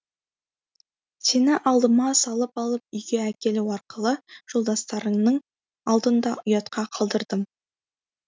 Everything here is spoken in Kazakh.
сені алдыма салып алып үйге әкелу арқылы жолдастарыңның алдында ұятқа қалдырдым